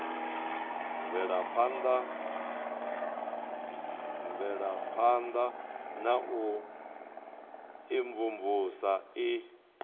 mvelaphana ya u imvumvusa i